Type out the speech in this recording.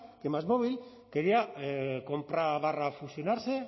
que másmóvil quería compra fusionarse